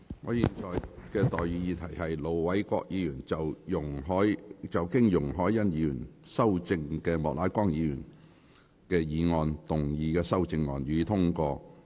我現在向各位提出的待議議題是：盧偉國議員就經容海恩議員修正的莫乃光議員議案動議的修正案，予以通過。